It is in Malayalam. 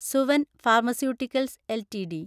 Suven pharmaceuticals LTD